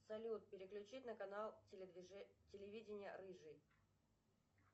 салют переключить на канал телевидения рыжий